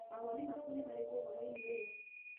Mawoni maku nĩ marĩkũ ũhoro-inĩ ũyũ?